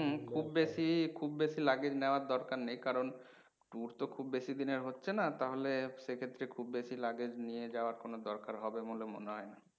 খুব বেশি খুব বেশি luggage নেওয়ার দরকার নেই কারণ tour তো খুব বেশি দিনের হচ্ছেনা তাহলে সেক্ষেত্রে খুব বেশি luggage নিয়ে যাওয়ার কোনও দরকার হবে বলে মনে হয় না।